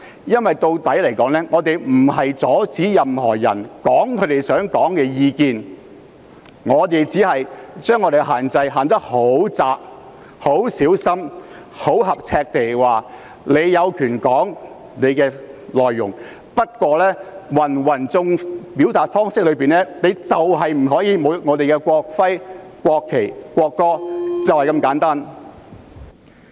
因為說到底，我們不是阻止任何人表達他們的意見，我們只是將有關限制訂得十分狹窄，很小心、很合尺地訂明，大家有權表達要說的內容，不過，在芸芸表達方式中，不能侮辱國徽、國旗和國歌，便是這麼簡單。